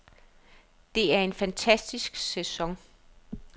Det er en fantastisk sæson.